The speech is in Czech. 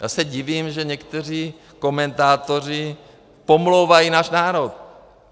Já se divím, že někteří komentátoři pomlouvají náš národ.